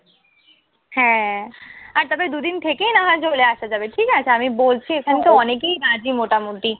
হ্যাঁ, আর তার পরে দুই দিন থেকে না হয় চলে আসা যাবে। ঠিক আছে। আমি বলছি ওখানকার অনেকেই কাজে মোটামুটি